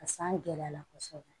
A san gɛlɛyala kosɛbɛ